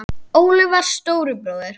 Óli var stóri bróðir.